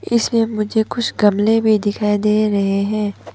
इसमें मुझे कुछ गमले भी दिखाई दे रहे हैं।